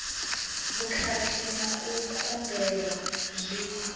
vhukhakhi na u kundelwa zwi